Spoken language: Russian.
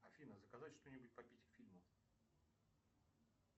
афина заказать что нибудь попить к фильму